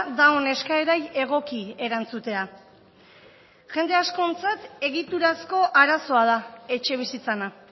daon eskaerari egoki erantzutea jende askontzat egiturazko arazoa da etxebizitzana